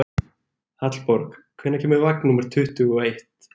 Hallborg, hvenær kemur vagn númer tuttugu og eitt?